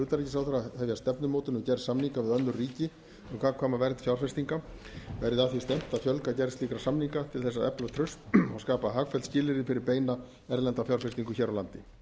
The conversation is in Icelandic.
utanríkisráðherra að hefja stefnumótun um gerð samninga við önnur ríki um gagnkvæma vernd fjárfestinga verði að því stefnt að fjölga gerð slíkra samninga til þess að efla traust og skapa hagfelld skilyrði fyrir beina erlenda fjárfestingu hér á landi